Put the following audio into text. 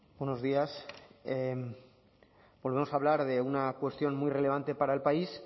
buenos días volvemos a hablar de una cuestión muy relevante para el país